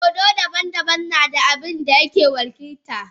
Dodo daban-daban na da abin da yake wakilta.